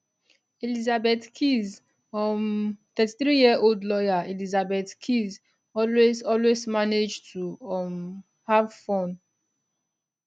elizabeth keys um 33yearold lawyer elizabeth keys always always manage to um have fun